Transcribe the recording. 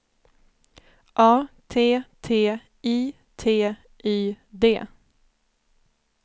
A T T I T Y D